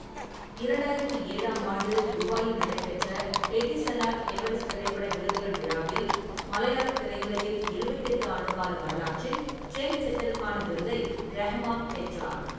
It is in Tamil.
இரண்டாயிரத்தி ஏழாம் ஆண்டு துபாயில் நடைபெற்ற எடிசலாட் எவரெஸ்ட் திரைப்பட விருதுகள் விழாவில், மலையாளத் திரையுலகின் எழுபத்தெட்டு ஆண்டுகால வரலாற்றில் ட்ரெண்ட்செட்டருக்கான விருதை ரஹ்மான் பெற்றார்.